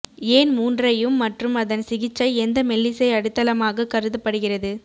ஏன் மூன்றையும் மற்றும் அதன் சிகிச்சை எந்த மெல்லிசை அடித்தளமாக கருதப்படுகிறது